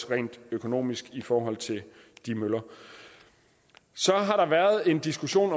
rent økonomisk i forhold til møllerne så har der været en diskussion